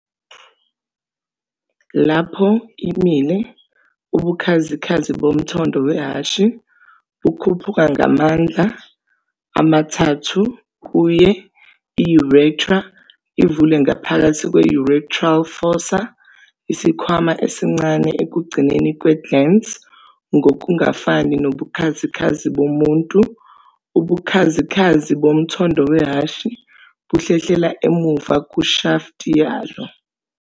Lapho imile, ubukhazikhazi bomthondo wehhashi bukhuphuka ngamahlandla ama-3 kuye. I- urethra ivula ngaphakathi kwe- urethral fossa, isikhwama esincane ekugcineni kwe-glans. Ngokungafani nobukhazikhazi bomuntu, ubukhazikhazi bomthondo wehhashi buhlehlela emuva kushafti yalo.